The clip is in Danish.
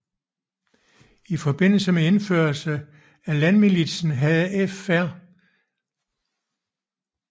I forbindelse med indførelsen af landmilitsen havde Fr